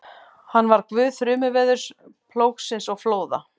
Hann var guð þrumuveðurs, plógsins og flóða.